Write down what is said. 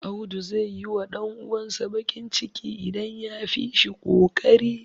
Audu zai yiwa ɗan uwansa baƙin ciki, idan ya fi shi ƙoƙari.